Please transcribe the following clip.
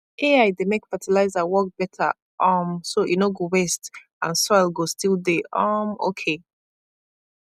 ai dey make fertilizer work better um so e no go waste and soil go still dey um okay